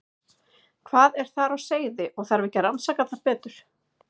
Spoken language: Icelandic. Hvað er þar á seyði og þarf ekki að rannsaka það betur?